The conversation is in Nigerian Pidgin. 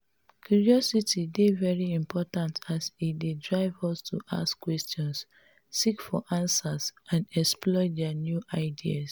curiosity dey very important as e dey drive us to ask questions seek for answers and explore di new ideas.